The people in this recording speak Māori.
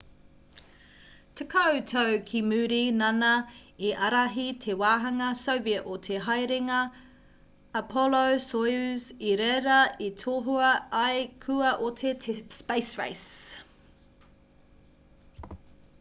tekau tau ki muri nāna i ārahi te wāhanga soviet o te haerenga apollo-soyuz i reira i tohua ai kua oti te space race